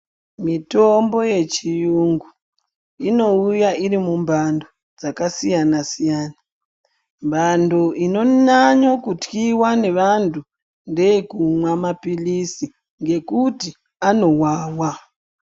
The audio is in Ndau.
Mitombo yechiyungu inouya iri mumhando dzakasiyana siyana mhando inonyanyo kutyiwa ngevantu ngeye kumwa mapilizi ngekuti anowawa.